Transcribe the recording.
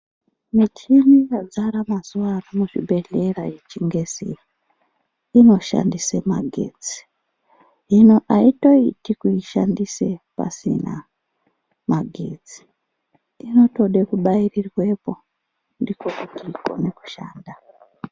Michini yazara mazuva ano muzvibhehlera yechingezi iyi, inoshandise magetsi. Aitoiti kuishandisa pasina magetsi .Inotode kubairirwepo ,nfiko kuti ikone kushanda.